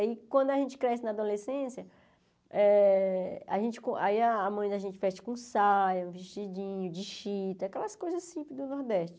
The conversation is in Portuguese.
Aí, quando a gente cresce na adolescência, eh a gente aí a mãe da gente veste com saia, vestidinho de chita, aquelas coisas simples do Nordeste.